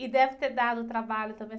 E deve ter dado trabalho também.